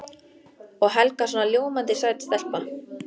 Og Helga svona ljómandi sæt stelpa.